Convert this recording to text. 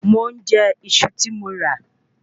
Mò ń jẹ Iṣu ti mọ ra